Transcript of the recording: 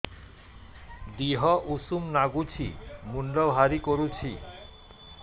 ଦିହ ଉଷୁମ ନାଗୁଚି ମୁଣ୍ଡ ଭାରି କରୁଚି